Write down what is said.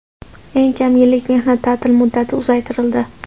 Eng kam yillik mehnat ta’tili muddati uzaytirildi.